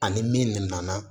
Ani min nana